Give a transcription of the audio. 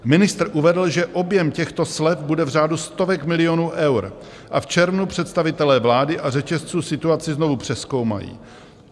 Ministr uvedl, že objem těchto slev bude v řádu stovek milionů eur, a v červnu představitelé vlády a řetězců situaci znovu přezkoumají.